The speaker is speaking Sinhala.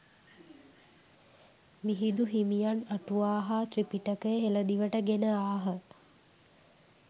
මිහිදු හිමියන් අටුවා හා ත්‍රිපිටකය හෙළදිවට ගෙන ආහ.